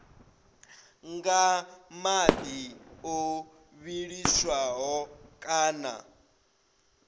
nga madi o vhiliswaho kana